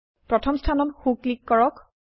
প্ৰথম স্থানত সো ক্লিক কৰক